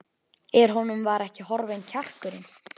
En honum var ekki horfinn kjarkurinn.